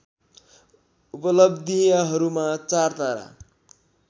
उपलब्धियहरूमा चार तारा